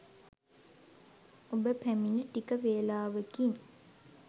ඔබ පැමිණ ටික වේලාවකින්